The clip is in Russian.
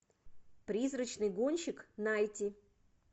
призрачный гонщик найти